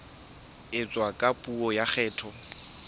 etswa ka puo ya kgetho